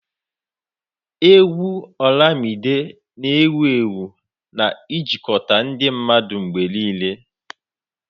Égwù Olamide na ewuewu na-ejikọta ndị mmadụ mgbe niile.